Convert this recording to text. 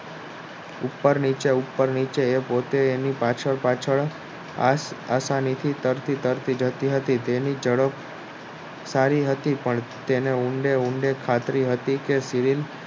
ઉપર નીચે ઉપર નીચે એ પોતે એની પાછળ પાછળહતા નીતા કરતી કરતી જતી હતી તેની ઝડપ સારી હતી તેને ઊંડે ઊંડે ખાતરી હતી કે